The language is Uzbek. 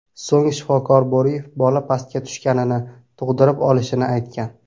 So‘ng shifokor Bo‘riyev bola pastga tushganini, tug‘dirib olishini aytgan.